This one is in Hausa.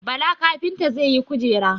Bala kafinta zai yi Kujera.